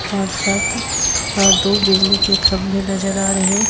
पांच सात और दो बिजली के खंभे नजर आ रहे--